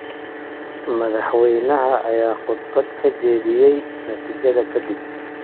Madaxweynaha ayaa khudbad ka jeediyay natiijada kadib.